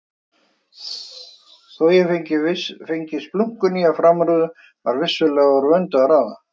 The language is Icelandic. Þó ég fengi splunkunýja framrúðu var vissulega úr vöndu að ráða.